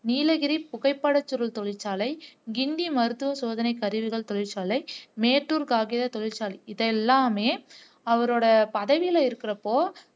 நீலகிரி புகைப்பட சுருள் தொழிற்சாலை கிண்டி மருத்துவ சோதனை கருவிகள் தொழிற்சாலை மேட்டூர் காகித தொழிற்சாலை இது எல்லாமே அவரோட பதவியில இருக்கிறப்ப